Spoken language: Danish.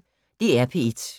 DR P1